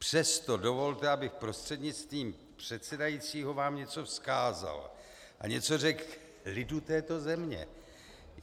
Přesto dovolte, abych prostřednictvím předsedajícího vám něco vzkázal a něco řekl lidu této země.